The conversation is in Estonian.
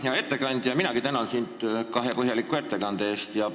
Hea ettekandja, minagi tänan sind kahe põhjaliku ettekande eest!